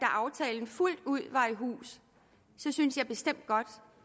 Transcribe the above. aftalen fuldt ud var i hus syntes jeg bestemt godt